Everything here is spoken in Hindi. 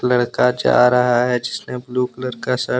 लड़का जा रहा हैजिसने ब्लू कलर का शर्ट --